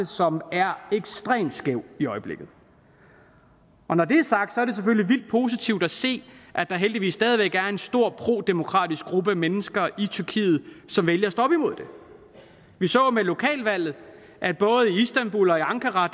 som er ekstremt skæv i øjeblikket når det er sagt er det selvfølgelig vildt positivt at se at der heldigvis stadig væk er en stor prodemokratisk gruppe mennesker i tyrkiet som vælger at stå op imod det vi så jo med lokalvalget at både i istanbul og i ankara